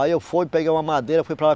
Aí eu fui, peguei uma madeira, fui para lá.